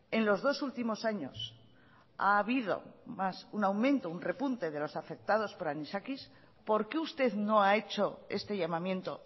en los dos últimos años ha habido más un aumento un repunte de los afectados por anisakis por qué usted no ha hecho este llamamiento